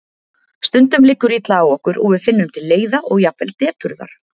Stundum liggur illa á okkur og við finnum til leiða og jafnvel depurðar.